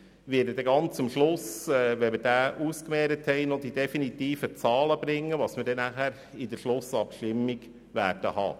Nach der Abstimmung darüber werde ich Ihnen noch die definitiven Zahlen im Zusammenhang mit der Schlussabstimmung aufzeigen.